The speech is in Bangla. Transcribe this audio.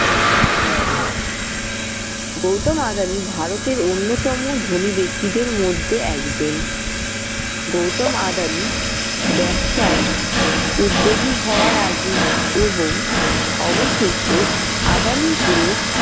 গৌতম আদানি ভারতের অন্যতম ধনি ব্যক্তিদের মধ্যে একজন। গৌতম আদানি ব্যবসায় উদ্যোগী হওয়ার আগে এবং অবশেষে আদানি group